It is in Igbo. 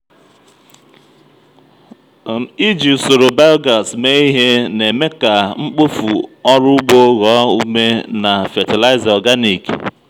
iji usoro biogas mee ihe na-eme ka mkpofu ọrụ ugbo ghọọ ume na fatịlaịza organic.